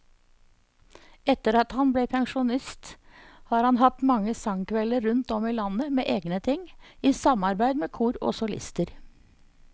Etter at han ble pensjonist har han hatt mange sangkvelder rundt om i landet med egne ting, i samarbeid med kor og solister.